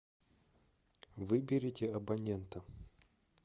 выберите абонента